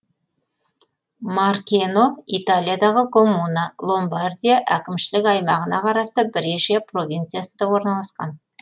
маркено италиядағы коммуна ломбардия әкімшілік аймағына қарасты брешия провинциясында орналасқан